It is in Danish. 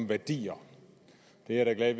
værdier jeg er da glad